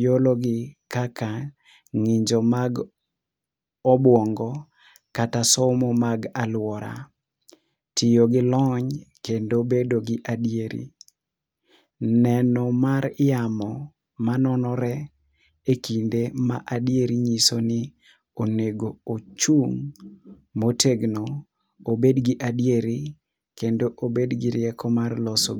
iologi kaka ng'injo mag obwongo kata somo mag alwora, tiyo gi lony kendo bedo gi adieri. Neno mar yamo manonore e kinde ma adieri nyiso ni onego ochung' motegno obed gi adieri kendo obed gi rieko mar loso.